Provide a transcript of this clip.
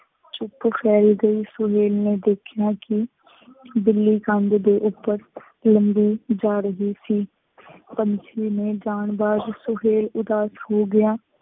ਚੁੱਪ ਕਰਕੇ ਸੁਹੇਲ ਨੇ ਦੇਖਿਆ ਕਿ ਬਿੱਲੀ ਕੰਧ ਦੇ ਉੱਪਰ ਲੰਘੀ ਜਾ ਰਹੀ ਸੀ। ਪੰਛੀ ਦੇ ਜਾਣ ਬਾਅਦ ਸੁਹੇਲ ਉਦਾਸ ਹੋ ਗਿਆ।